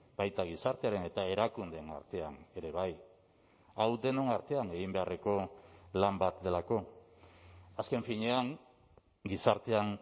baita gizartearen eta erakundeen artean ere bai hau denon artean egin beharreko lan bat delako azken finean gizartean